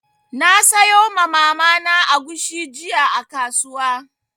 Na sayo ma Mama na agushi jiya a kasuwa.